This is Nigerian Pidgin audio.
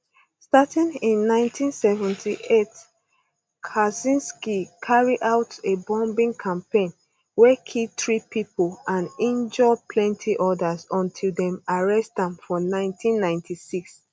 starting in 1978 kaczynski carry out a bombing campaign wey kill three people and injure plenty others until dem arrest am for 1996